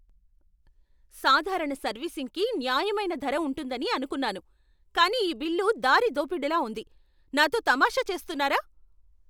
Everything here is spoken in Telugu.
సాధారణ సర్వీసింగ్కి న్యాయమైన ధర ఉంటుందని అనుకున్నాను, కానీ ఈ బిల్లు దారిదోపిడిలా ఉంది! నాతో తమాషా చేస్తున్నారా?